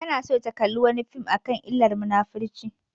Tana so ta kalla wani fim akan illar munafurci